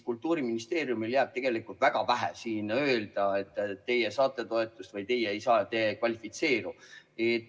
Kultuuriministeeriumil on tegelikult väga vähe siin öelda, et teie saate toetust või teie ei kvalifitseeru.